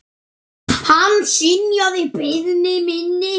Hann synjaði beiðni minni.